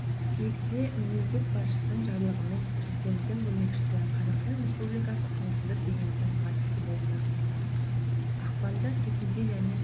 қыркүйекте мемлекет басшысының жарлығымен президенттің көмекшісі қазақстан республикасы қауіпсіздік кеңесінің хатшысы болып тағайындалды ақпанда төтенше және